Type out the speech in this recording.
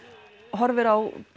horfir á